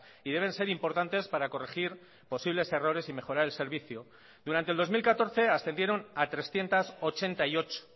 y deben ser importantes para corregir posibles errores y mejorar el servicio durante el dos mil catorce ascendieron a trescientos ochenta y ocho